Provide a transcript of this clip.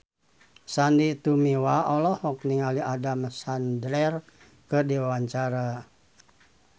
Sandy Tumiwa olohok ningali Adam Sandler keur diwawancara